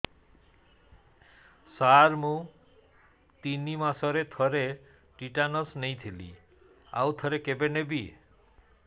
ସାର ମୁଁ ତିନି ମାସରେ ଥରେ ଟିଟାନସ ନେଇଥିଲି ଆଉ ଥରେ କେବେ ନେବି